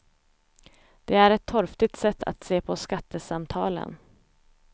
Det är ett torftigt sätt att se på skattesamtalen.